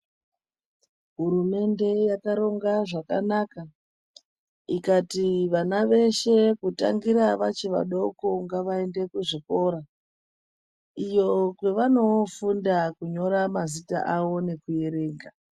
Hurumende yakaronga zvakanaka ikati vana veshe kutangira vachi vadoko ngavaende kuzvikora iyo kwevanoofunda kunyora mazita avo nekuerenga.